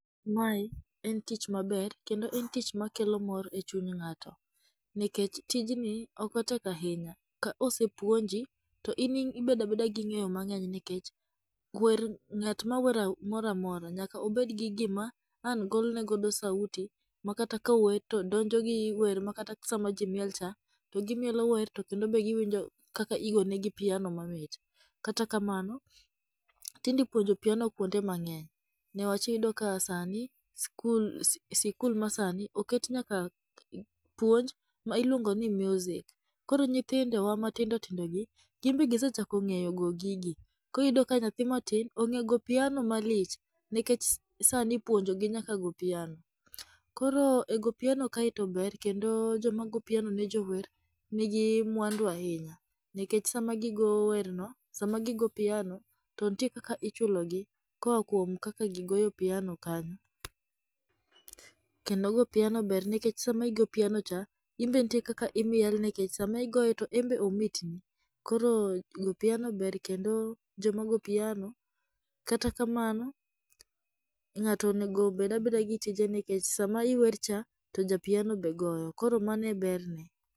Mae en tich maber kendo en tich makelo mor e chuny ng'ato, nikech tijni ok otek ahinya. Ka osepuonji, to in ibedo abeda gi ng'eyo mang'eny nikech, ng'at mora mora nyaka obed gi gima an golo ne godo sauti makata kata kawer to donjo gi wer makata sama ji miel cha, to gimielo wer to kendo be giwinjo kaka igone negi piano mamit. Kata kamano, tijni puonjo piano kwonde mang'eny niwach iyudo ka sani skul masani oket nyaka puonj ma iluongo ni music. Koro nyithindowa matindo tindogi gin bende gisechako ng'eyo go gigi, koro iyudo ka nyathi matin ong'e goyo piana malich, nikech sani ipuonjogi nyaka go piano. Koro e go piano kaeto to ber kendo joma go piano ne jower nigi mwandu ahinya nikech sama giyo piano to nitie kaka ichulogi koa kuom kaka gigoyo piano kanyo, kendo go piano ber nikech sama igo piano cha, in be nitie kaka imiel nikech sama igoye to en be omit ni, koro goyo piano ber kendo joma go piano, kata kamano, ng'ato onego obed abeda gi tije nikech sama iwercha ,to ja piano be goyo. koro mano e berne.